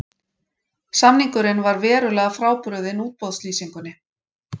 Samningurinn var verulega frábrugðinn útboðslýsingunni